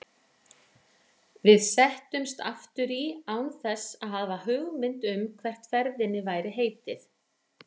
Við settumst aftur í án þess að hafa hugmynd um hvert ferðinni væri heitið.